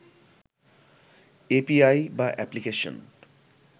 API বা application